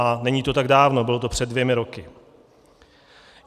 A není to tak dávno, bylo to před dvěma roky.